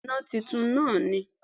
Bẹ́ẹ̀ni òpó iná titun náà ni